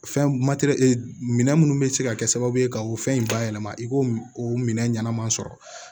Fɛn matɛrɛ minɛ minnu bɛ se ka kɛ sababu ye ka o fɛn in bayɛlɛma i k'o o minɛ ɲɛnama sɔrɔ